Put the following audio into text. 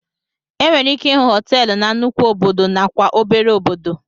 Enwere ike ịhụ hoteelu na nnukwu obodo na kwa obere obodo.